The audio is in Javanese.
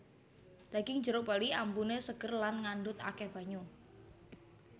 Daging jeruk bali ambune seger Lan ngandhut akeh banyu